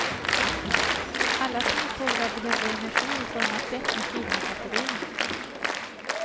Alla småfåglar behöver enegri i form av fett när kylan sätter in.